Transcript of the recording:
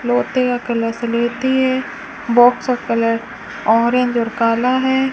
लोटे का कलश लेती है बॉक्स का कलर ऑरेंज और काला है।